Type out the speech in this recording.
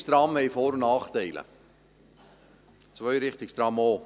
Einrichtungstrams haben Vor- und Nachteile, Zweirichtungstrams auch.